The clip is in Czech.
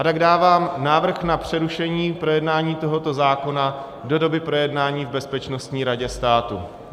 A tak dávám návrh na přerušení projednávání tohoto zákona do doby projednání v Bezpečnostní radě státu.